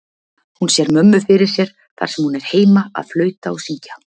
Hún sér mömmu fyrir sér þar sem hún er heima að flauta og syngja.